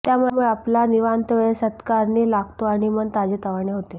त्यामुळे आपला निवांत वेळ सत्कारणी लागतो आणि मन ताजेतवाने होते